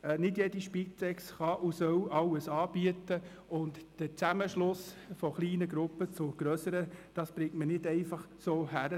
Nicht jede Spitex kann und soll alles anbieten, und den Zusammenschluss von kleinen Gruppen zu grösseren kriegt man nicht einfach so hin;